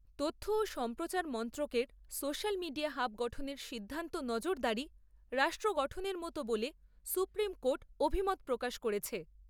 তথ্য ও সম্প্রচার মন্ত্রকের সোশ্যাল মিডিয়া হাব গঠনের সিদ্ধান্ত, নজরদারী রাষ্ট্র গঠনের মতো বলে সুপ্রীম কোর্ট অভিমত প্রকাশ করেছে।